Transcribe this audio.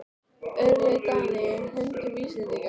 Örlög Dana í höndum Íslendinga?